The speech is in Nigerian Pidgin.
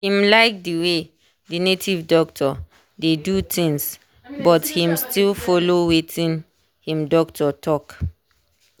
him like the way the native doctor dey do things but him still follow watin him doctor talk.